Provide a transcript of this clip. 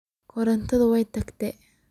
Korontadhi way tagtey.